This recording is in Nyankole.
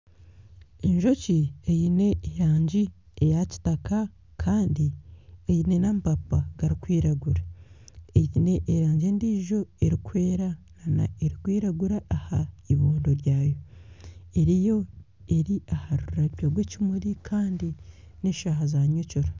Enjoki eine erangi eya kitaka kandi eine n'amapapa garikwiragura eine erangi endiijo erikwera na n'erikwiragura aha ibondo ryayo, eri aha rurabyo rw'ekimuri kandi n'eshaaha za nyekiro.